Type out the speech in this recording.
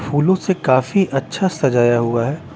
फूलों से काफी अच्छा सजाया हुआ हैं ।